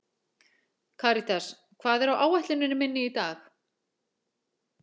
Karítas, hvað er á áætluninni minni í dag?